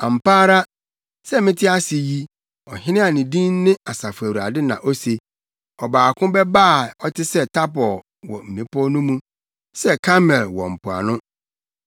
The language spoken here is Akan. “Ampa ara sɛ mete ase yi” Ɔhene a ne din ne Asafo Awurade na ose, “Ɔbaako bɛba a ɔte sɛ Tabor wɔ mmepɔw no mu, sɛ Karmel wɔ mpoano.